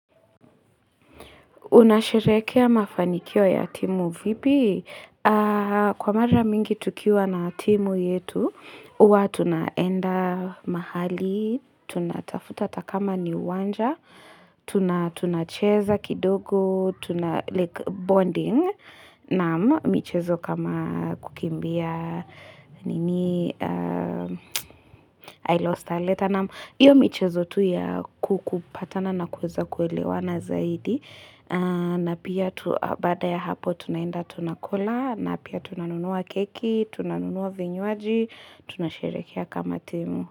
Unasherehekea mafanikio ya timu vipi? Kwa mara mingi tukiwa na timu yetu, huwa tunaenda mahali, tunatafuta hata kama ni uwanja, tunacheza kidogo, tunabonding na michezo kama kukimbia I lost her letter. Na hiyo michezo tu ya kukupatana na kuweza kuelewa na zaidi. Na pia baada ya hapo tunaenda tunakula na pia tunanunua keki, tunanunua vinywaji, tunasherehekea kama temu.